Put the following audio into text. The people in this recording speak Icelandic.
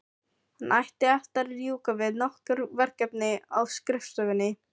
Hann átti eftir að ljúka við nokkur verkefni á skrifstofunni.